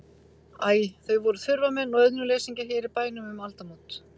Æ, þau voru þurfamenn og auðnuleysingjar hér í bænum um aldamót.